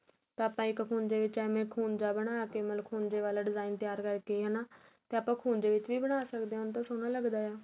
ਤਾਂ ਆਪਾ ਇੱਕ ਖੁੰਜੇ ਵਿੱਚ ਐਵੇ ਖੁੰਜਾਂ ਬਣਾ ਕੇ ਮਤਲਬ ਖੁੰਜ਼ੇ ਵਾਲਾਂ design ਤਿਆਰ ਕਰਕੇ ਹੈਨਾ ਤਾਂ ਆਪਾ ਖੁੰਜ਼ੇ ਵਿੱਚ ਵੀ ਬਣਾ ਸਕਦੇ ਹੁਣ ਤਾ ਸੋਹਣਾ ਲੱਗਦਾ ਏ